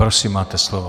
Prosím, máte slovo.